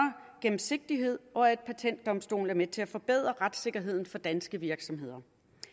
gennemsigtighed og at patentdomstolen er med til at forbedre retssikkerheden for danske virksomheder